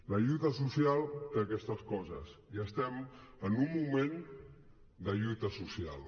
la lluita social té aquestes coses i estem en un moment de lluita social